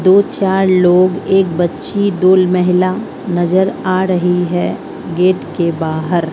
दो चार लोग एक बच्ची दो महिला नजर आ रही है गेट के बाहर--